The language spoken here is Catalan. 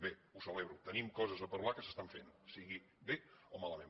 bé ho celebro tenim coses a parlar que s’estan fent sigui bé o malament